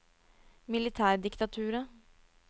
militærdiktaturet